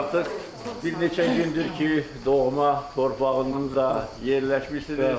Artıq bir neçə gündür ki, doğma torpağınızda yerləşmisiniz.